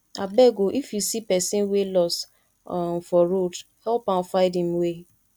abeg o if you see pesin wey loss um for road help am find im way